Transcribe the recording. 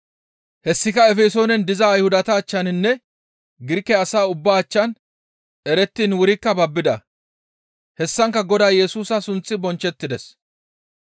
Hessika Efesoonen diza Ayhudata achchaninne Girike asa ubbaa achchan erettiin wurikka babbida; hessankka Godaa Yesusa sunththi bonchchettides.